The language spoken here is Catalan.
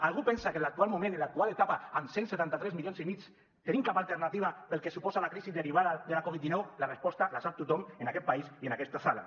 algú pensa que en l’actual moment en l’actual etapa amb cent i setanta tres milions i mig tenim cap alternativa pel que suposa la crisi derivada de la covid dinou la resposta la sap tothom en aquest país i en aquesta sala